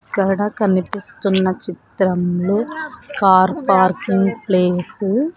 ఇక్కడ కనిపిస్తున్న చిత్రంలో కార్ పార్కింగ్ ప్లేసు .